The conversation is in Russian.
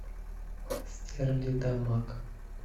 стерлитамак